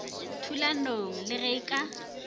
thulanong le ge e ka